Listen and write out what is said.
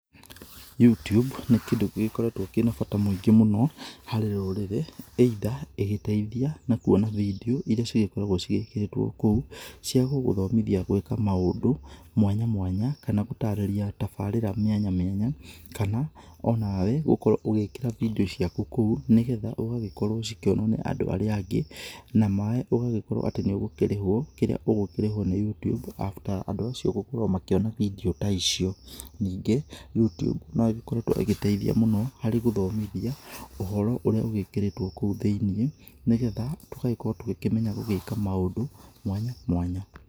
Youtube nĩ kindũ gĩkoretwo kĩna bata mũingi mũno harĩ rũrĩrĩ, [cs either ĩngĩteithia na kwona vedio irĩa cikoragwo ciĩkeretwo kũu cia gũgũthomithia gwika maũndũ mwanya mwanya, kana gũtarĩria tabarĩra mĩanya mĩanya, kana o nawe ũkorwo ugĩkĩra vedio ciaku kũu nĩgetha igagĩkorwo cikĩonwo nĩ andũ arĩa angĩ, ũgagĩkorwo atĩ ũngĩkũreho kĩrĩa ungikũreho nĩ Youtube, after andũ acio gũkorwo makĩona vedio ta icio ningĩ Youtube no ikoretwo ĩngĩteithia mũno harĩ gũthomithia ũhoro urĩa ugĩkĩrĩtwo kũu thĩinĩ nĩgetha tũgagĩkorwo tũkĩmenya gũgĩkaga maũndũ mwanya mwanya.